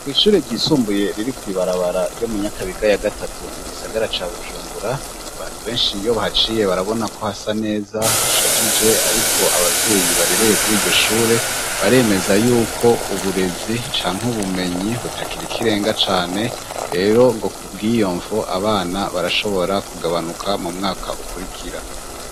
Kw ishure ryisumbuye riri kw'barabara ryo mu nyakabiga ya gatatu mu gisagara ca bujumbura, abantu benshi iyo bahaciye barabonako hasa neza hashajije ariko abavyeyi barereye kuri iryo shure baremeza yuko uburezi canke ubumenyi butakiri ikirenga cane rero ngo kubwiyomvo abana barashobora kugabanuka mu mwaka ukurikira.